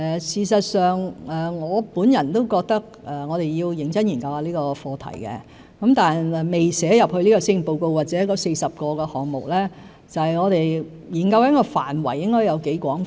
事實上，我本人也認為要認真研究這個課題，但未寫進這份施政報告或那40個立法建議項目，是因為我們正在研究涵蓋範圍應該有多廣泛。